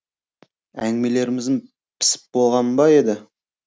әңгімелеріңіз пісіп болған ба еді